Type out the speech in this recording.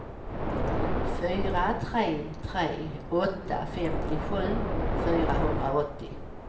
fyra tre tre åtta femtiosju fyrahundraåttio